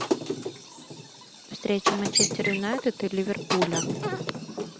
встреча манчестер юнайтед и ливерпуля